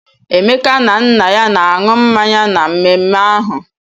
Emeka na nna ya na-aṅụ mmanya na mmemme ahụ.